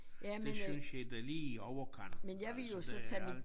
Det synes jeg da lige i overkanten altså det alt